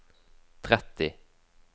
tretti